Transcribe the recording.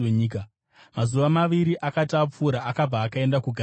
Mazuva maviri akati apfuura, akabva akaenda kuGarirea.